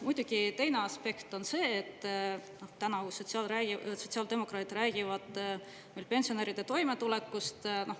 Muidugi teine aspekt on see, et tänavu sotsiaaldemokraadid räägivad meil pensionäride toimetulekust.